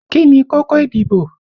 Kí ni kókó ìdìbò?